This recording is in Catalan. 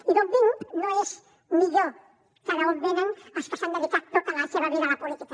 i d’on vinc no és millor que d’on venen els que s’han dedicat tota la seva vida a la política